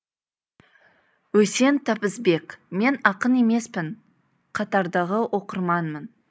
үсен табысбек мен ақын емеспін қатардағы оқырманмын